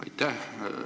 Aitäh!